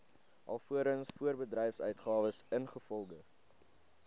alvorens voorbedryfsuitgawes ingevolge